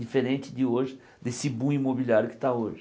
Diferente de hoje, desse boom imobiliário que está hoje.